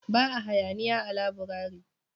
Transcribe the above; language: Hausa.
Ba a hayaniya a laburare